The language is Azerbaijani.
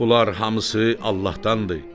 Bunlar hamısı Allahdandır.